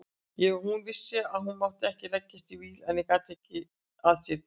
Hún vissi að hún mátti ekki leggjast í víl en gat ekki að sér gert.